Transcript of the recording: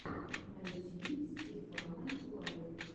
найти стефана лайф